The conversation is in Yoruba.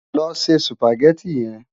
Lò sé Sùpágèti yèn